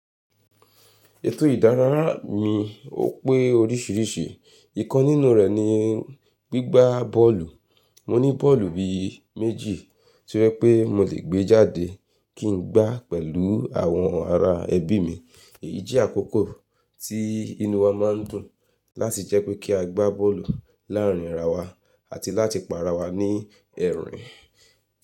Ètò ìdárayá mi ó pé oríṣiríṣi, ìkan nínú rẹ̀ ni gbígbá bọ́ọ̀lù. Mo ní bọ́ọ̀lù bí i méjì tí ó je pé mo lè gbé jáde kí n gbá pẹ̀lú àwọn ará ẹbí mi. Èyí jẹ́ àkókò tí inú wa má n dùn láti jẹ́ pé kí a gbá bọ́ọ̀lù láàárín ara wa àti láti pa ara wa ní ẹ̀rín.